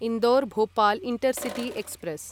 Indore Bhopal intercity express